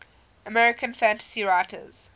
american fantasy writers